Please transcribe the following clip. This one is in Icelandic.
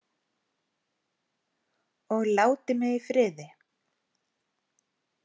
Og láti mig í friði.